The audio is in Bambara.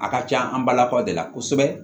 A ka can an balakaw de la kosɛbɛ